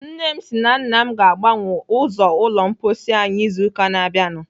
Nne m si na nna m ga-agbanwe ụzọ ụlọ mposi anyị izu ụka na-abịanụ.